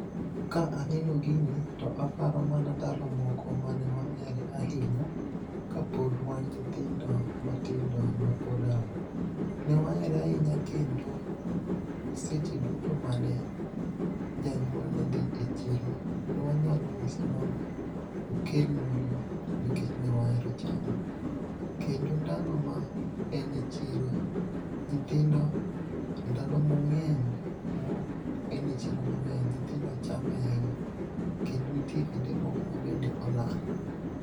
Ka aneno gini, to aparo mana ndalo moko mane waere ahinya, kapod wan nyithindo matindo mapod a. Newaere ahinya kendo, seche duto mane, janyuol nedhi e chiro, nwanyalo nyise mondo, okelnwa go nikech newaero chame. Kendo ndalo ma en e chiro, nyithindo, ndalo mong'eny mo en e chiro mang'eny, nyithindo chame ahinya. Kendo nitie kinde moko mabende olal